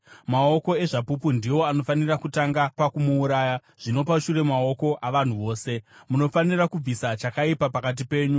Maoko ezvapupu ndiwo anofanira kutanga pakumuuraya, zvino pashure maoko avanhu vose. Munofanira kubvisa chakaipa pakati penyu.